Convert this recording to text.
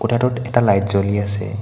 কোঠাটোত এটা লাইট জ্বলি আছে।